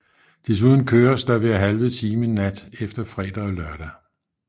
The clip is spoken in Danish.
Desuden køres der hver halve time nat efter fredag og lørdag